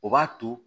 O b'a to